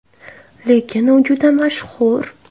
Lekin u juda mashhur.